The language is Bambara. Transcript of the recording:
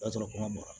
O y'a sɔrɔ ma mara